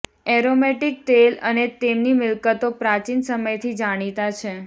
aromatic તેલ અને તેમની મિલકતો પ્રાચીન સમયથી જાણીતા છે